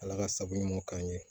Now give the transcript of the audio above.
Ala ka sago ɲɔgɔn k'an ye